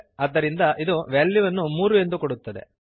ಆದ್ದರಿಂದ ಇದು ವ್ಯಾಲ್ಯುವನ್ನು 3 ಎಂದು ಕೊಡುತ್ತದೆ